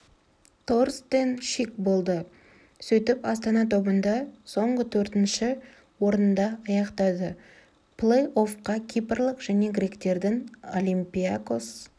торстен шик болды сөйтіп астана тобында соңғы төртінші орында аяқтады плей-оффқа кипрлық және гректердің олимпиакос